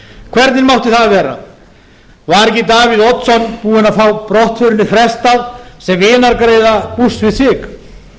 hvernig mátti það vera var ekki davíð oddsson búinn að fá brottförinni frestað sem vinargreiða bush við sig